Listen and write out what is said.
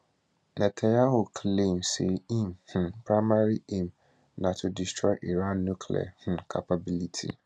netanyahu claim say im um primary aim na to destroy iran nuclear um capability